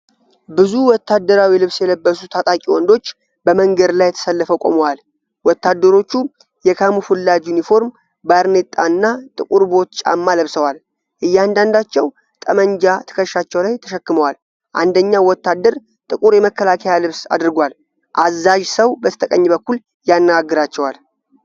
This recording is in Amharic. ብዙ ወታደራዊ ልብስ የለበሱ ታጣቂ ወንዶች በመንገድ ላይ ተሰልፈው ቆመዋል። ወታደሮቹ የካሙፍላጅ ዩኒፎርም፣ ባርኔጣ እና ጥቁር ቦት ጫማ ለብሰዋል። እያንዳንዳቸው ጠመንጃ ትከሻቸው ላይ ተሸክመዋል፤ አንደኛው ወታደር ጥቁር የመከላከያ ልብስ አድርጓል። አዛዥ ሰው በስተቀኝ በኩል ያነጋግራቸዋል።